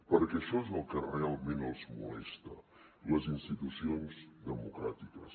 perquè això és el que realment els molesta les institucions democràtiques